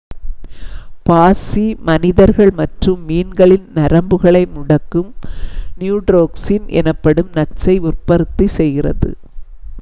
பாசி மனிதர்கள் மற்றும் மீன்களின் நரம்புகளை முடக்கும் நியூரோடாக்சின் எனப்படும் நச்சை உற்பத்தி செய்கிறது